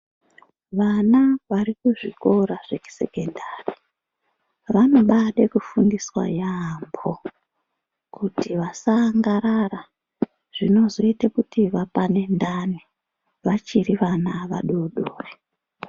Vana vari kuzvikora zvekusekondari, vanobaade kufundiswa yambo, kuti vasaangarara, zvinozoyita kuti vapane ndani vachiri vana vadodori.